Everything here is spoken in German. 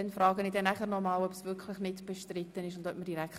Dies gewähre ich ihm gerne.